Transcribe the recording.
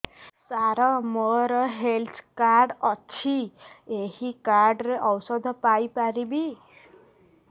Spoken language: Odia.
ସାର ମୋର ହେଲ୍ଥ କାର୍ଡ ଅଛି ଏହି କାର୍ଡ ରେ ଔଷଧ ପାଇପାରିବି